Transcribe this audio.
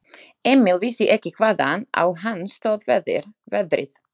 Emil vissi ekki hvaðan á hann stóð veðrið.